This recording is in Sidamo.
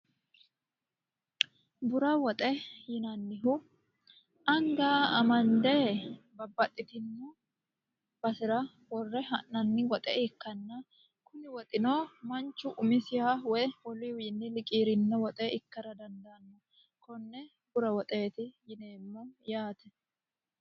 Bura woxe yinannihu aniga amanidde babbaxitinno basera worre ha'nanni woxe ikkana kuni woxino manichu umisiha woy woluyiwi liqiirinno woxe ikkara danidaanno konne bura woxeeti yineemo yaate